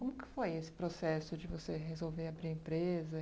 Como que foi esse processo de você resolver abrir a empresa?